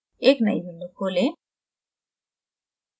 एक नयी window खोलें